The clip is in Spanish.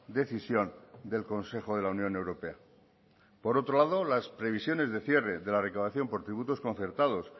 decisión del consejo de la unión europea por otro lado las previsiones de cierre de la declaración por tributos concertados